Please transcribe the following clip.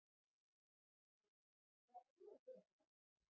Þórhildur: Hvað ætlar þú að gera um páskana?